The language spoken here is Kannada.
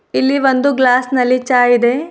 ಇಲ್ಲಿ ಒಂದು ಗ್ಲಾಸ್ ನಲ್ಲಿ ಚಹ್ ಇದೆ.